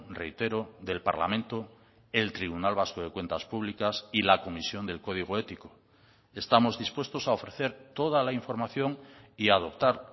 reitero del parlamento el tribunal vasco de cuentas públicas y la comisión del código ético estamos dispuestos a ofrecer toda la información y a adoptar